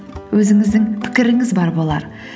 өзіңіздің пікіріңіз бар болар